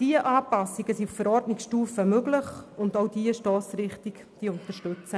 Diese Anpassungen sind auf Verordnungsstufe möglich und unterstützen diese Stossrichtung.